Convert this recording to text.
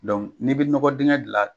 n'i bɛ nɔgɔ digɛn gilan.